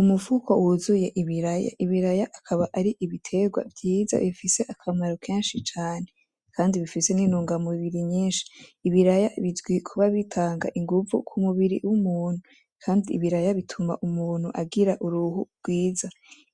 Umufuko wuzuye ibiraya, ibaraya akaba ari ibiterwa vyiza bifise akamaro kenshi cane kandi bifise n'intunga mubiri nyishi, ibiraya bizwi kuba bitanga inguvu k'umubiri w'umuntu kandi ibiraya bituma umuntu agira uruhu rwiza,